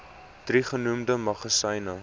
drie genoemde magasyne